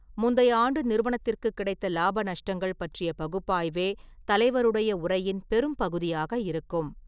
முந்தைய ஆண்டு நிறுவனத்திற்குக் கிடைத்த லாப நஷ்டங்கள் பற்றிய பகுப்பாய்வே தலைவருடைய உரையின் பெரும்பகுதியாக இருக்கும்.